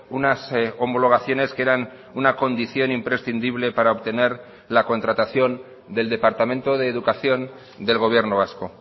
unas homologaciones que eran una condición imprescindible para obtener la contratación del departamento de educación del gobierno vasco